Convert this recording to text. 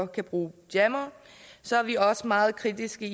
kan bruge jammere så er vi også meget kritiske